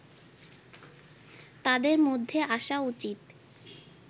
তাদের মধ্যে আসা উচিত